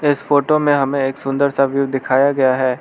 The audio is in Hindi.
इस फोटो में हमें एक सुंदर सा व्यू दिखाया गया है।